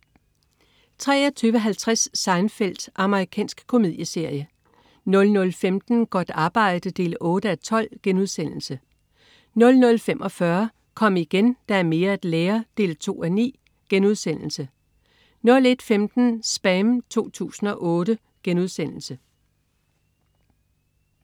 23.50 Seinfeld. Amerikansk komedieserie 00.15 Godt arbejde 8:12* 00.45 Kom igen, der er mere at lære 2:9* 01.15 SPAM 2008*